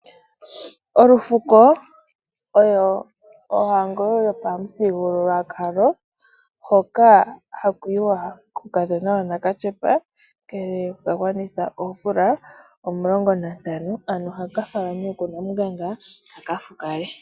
Olufuko oyo ohango yopamuthigululwakalo hoka haku yiwa kuukadhona wanakatyepa ngele wa gwanitha omvula omulongo nantano, ano haka hala nee ku namunganga kaka fukale.